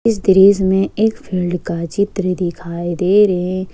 इस दृश्य में एक फील्ड का चित्र दिखाई दे रे।